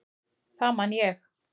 Það man ég.